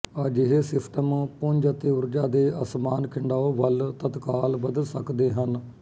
ਅਜਿਹੇ ਸਿਸਟਮ ਪੁੰਜ ਅਤੇ ਊਰਜਾ ਦੇ ਅਸਮਾਨ ਖਿੰਡਾਓ ਵੱਲ ਤਤਕਾਲ ਬਦਲ ਸਕਦੇ ਹਨ